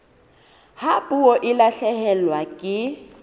ha puo e lahlehelwa ke